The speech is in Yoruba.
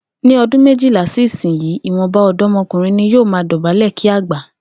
Ní o̩dún méjilá sí ìsinyìí, ìwò̩nba ò̩dó̩mo̩kùnrin ni yóò máa dò̩bálè̩ kí àgbà